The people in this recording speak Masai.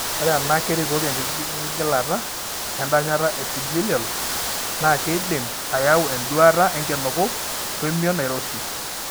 Ore ena kerikoki enkigiligilata endanyata eepithelial, naa keidim ayau enduata enkinuku oemion nairoshi.